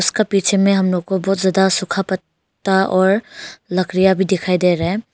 इसका पीछे में हम लोग को बहुत ज्यादा सूखा पत्ता और लकड़ियां भी दिखाई दे रहा है।